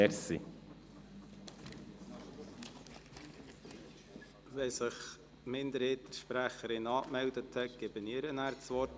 Sobald sich die Minderheitensprecherin an der Sprechanlage angemeldet hat, erteile ich ihr das Wort.